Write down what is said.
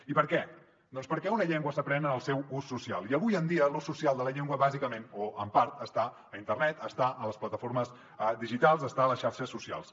i per què doncs perquè una llengua s’aprèn en el seu ús social i avui en dia l’ús social de la llengua bàsicament o en part està a internet està a les plataformes digitals està a les xarxes socials